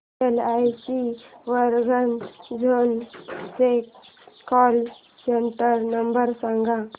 LIC Warangal zone चा call centre number सांग